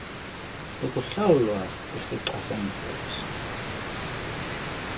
lokuhlawulwa isixa somvuzo